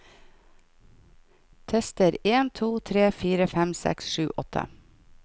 Tester en to tre fire fem seks sju åtte